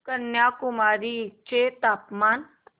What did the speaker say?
कन्याकुमारी चे तापमान